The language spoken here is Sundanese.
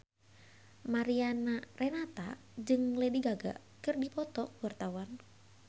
Mariana Renata jeung Lady Gaga keur dipoto ku wartawan